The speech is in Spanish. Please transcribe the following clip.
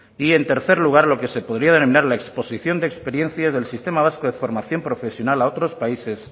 y en tercer lugar lo que se podría denominar la exposición de experiencias del sistema vasco de formación profesional a otros países